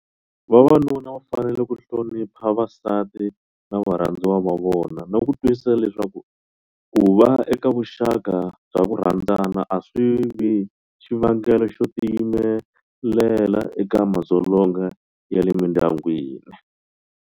Vavanuna va fanele ku hlonipha vasati na varhandziwa va vona na ku twisisa leswaku ku va eka vuxaka bya ku rhandzana a swi vi xivangelo xo tiyimelela eka madzolonga ya le mindyangwini.